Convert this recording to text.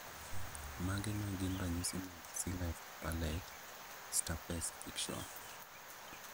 Mage magin ranyisi mag Cleft palate stapes fixation